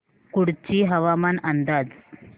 कुडची हवामान अंदाज